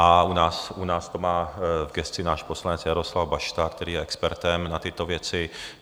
A u nás to má v gesci náš poslanec Jaroslav Bašta, který je expertem na tyto věci.